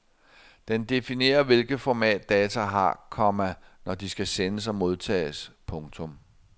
Den definerer hvilket format data har, komma når de skal sendes og modtages. punktum